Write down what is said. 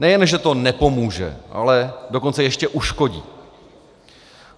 Nejen že to nepomůže, ale dokonce ještě uškodí.